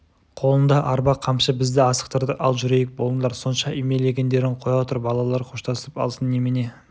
қолында арба қамшы бізді асықтырды ал жүрейік болыңдар сонша үймелегеңдерің қоя тұр балалар қоштасып алсын немене